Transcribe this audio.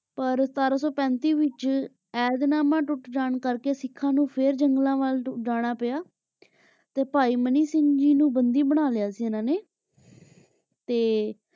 ਪਰ ਸਤਰਾਂ ਸੋ ਪੇੰਟਿ ਵਿਚ ਏਹਦ ਨਾਮਾ ਟੁਟ ਜਾਂ ਕਰ ਕੇ ਸਿਖਾਂ ਨੂ ਫੇਰ ਜੰਗਲਾਂ ਵਾਲਾ ਜਾਣਾ ਪਾਯਾ ਤੇ ਪੈ ਮਨੀ ਸਿੰਘ ਜੀ ਨੂ ਬੰਦੀ ਬਣਾ ਲਾਯਾ ਸੀ ਇਨਾਂ ਨੇ ਤੇ